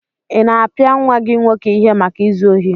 Ị na-apịa nwa gị nwoke ihe maka izu ohi?